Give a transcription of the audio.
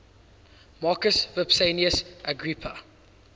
marcus vipsanius agrippa